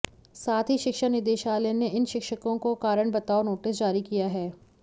साथ ही शिक्षा निदेशालय ने इन शिक्षकों को कारण बताओं नोटिस जारी किया है